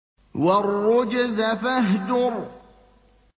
وَالرُّجْزَ فَاهْجُرْ